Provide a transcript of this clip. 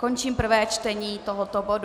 Končím prvé čtení tohoto bodu.